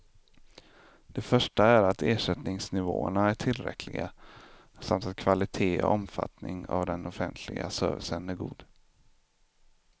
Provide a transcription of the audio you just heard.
Det första är att ersättningsnivåerna är tillräckliga, samt att kvalitet och omfattning av den offentliga servicen är god.